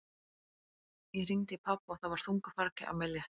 Ég hringdi í pabba og það var þungu fargi af mér létt.